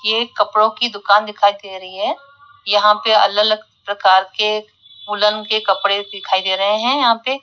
ये कपड़ों की दुकान दिखाई दे रही है यहां पे अलग अलग प्रकार के वूलन के कपड़े दिखाई दे रहे हैं यहां पे--